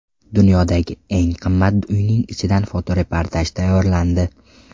Dunyodagi eng qimmat uyning ichidan fotoreportaj tayyorlandi.